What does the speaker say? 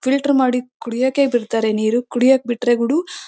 filter ಮಾಡಿ ಕುಡಿಯಕೆ ಹೆದರ್ತಾರೆ ನೀರು ಕುಡಿಯಕೆ ಬಿಟ್ರೆ ಅದು--